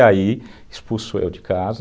E aí, me expulsou de casa.